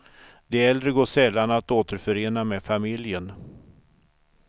De äldre går sällan att återförena med familjen.